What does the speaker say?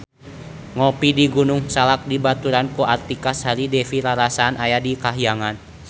Ngopi di Gunung Salak dibaturan ku Artika Sari Devi rarasaan aya di kahyangan